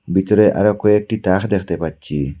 বিতরে আরো কয়েকটি টাহ দেখতে পাচ্ছি।